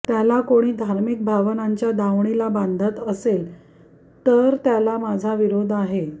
त्याला कोणी धार्मिक भावनांच्या दावणीला बांधत असेल तर त्याला माझा विरोध आहे